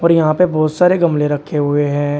और यहां पर बहुत सारे गमले रखे हुए हैं।